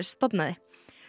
stofnaði